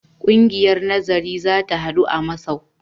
Ƙungiyar nazari za ta haɗu a masau.